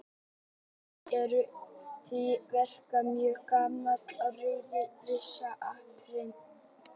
Stjörnurnar eru því yfirleitt mjög gamlar og rauðir risar áberandi.